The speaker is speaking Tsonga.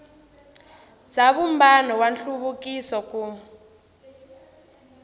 bya vumbano wa nhluvukiso ku